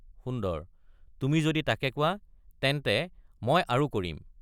সুন্দৰ—তুমি যদি তাকে কোৱা তেন্তে মই আৰু কৰিম।